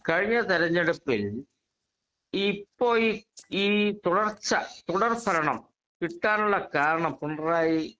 speaker 2 കഴിഞ്ഞ തെരെഞ്ഞെടുപ്പിൽ ഇപ്പോ ഈ തുടർച്ച തുടർ ഭരണം കിട്ടാനുള്ള കാരണം പിണറായി